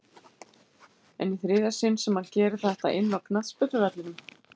En í þriðja sinn sem hann gerir þetta inná knattspyrnuvellinum?